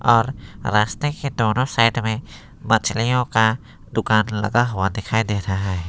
और रास्ते के दोनों साइड में मछलियों का दुकान लगा हुआ दिखाई दे रहा है।